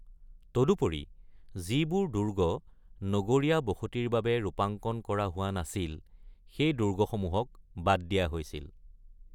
তদুপৰি, যিবোৰ দুৰ্গ নগৰীয়া বসতিৰ বাবে ৰূপাংকন কৰা হোৱা নাছিল, সেই দুৰ্গসমূহক বাদ দিয়া হৈছিল।